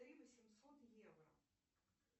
три восемьсот евро